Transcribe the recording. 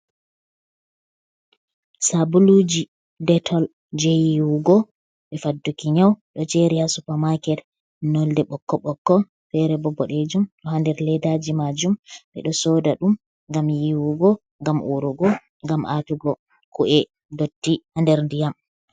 Sabuluji detol je yiwugo e fadduki nyau, ɗo jeri ha supamaket nolde ɓokko ɓokko, fere bo boɗejum, do ha nder leddaji majum, ɓeɗo soda ɗum ngam yiwugo, ngam urugo, ngam atugo ku’e dotti ha nder ndiyam.